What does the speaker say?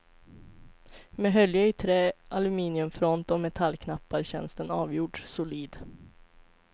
Med hölje i trä, aluminiumfront och metallknappar känns den avgjort solid.